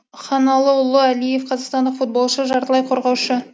ханалыұлы әлиев қазақстандық футболшы жартылай қорғаушы